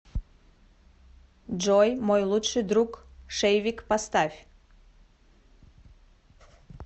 джой мой лучший друг шейвик поставь